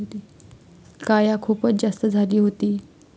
काया खुपच जास्त झाली होती.